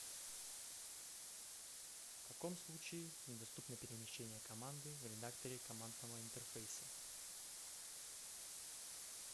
в каком случае недоступно перемещение команды в редакторе командного интерфейса